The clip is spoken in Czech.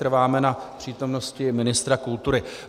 Trváme na přítomnosti ministra kultury.